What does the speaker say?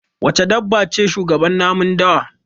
Wace dabba ce shugaban namun dawa?